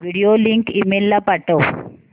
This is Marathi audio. व्हिडिओ लिंक ईमेल ला पाठव